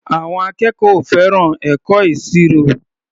Àwọn akẹ́kọ̀ọ́ ò fẹ́ràn ẹ̀kọ́ ìṣirò.